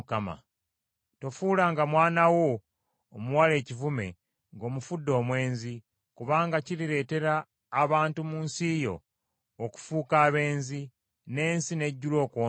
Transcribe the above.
“Tofuulanga mwana wo omuwala ekivume ng’omufudde omwenzi, kubanga kirireetera abantu mu nsi yo okufuuka abenzi, n’ensi n’ejjula okwonoona.